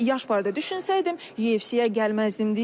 Yaş barədə düşünsəydim, UFC-yə gəlməzdim deyir.